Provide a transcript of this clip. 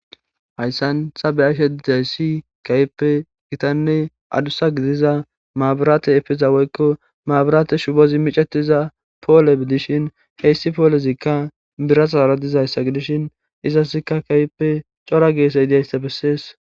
hayssan sabeashe dayssi kaype gitanne adusa gidiza maaburaate efeza woykko maaburaate shubozi micetiza poole bidishin heyssi poolezikka birasaaradizaayssa gidishin izasikka kayppe cora geese hidaysta bessees